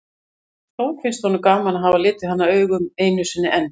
Þó finnst honum gaman að hafa litið hana augum einu sinni enn.